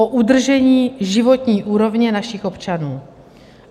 O udržení životní úrovně našich občanů.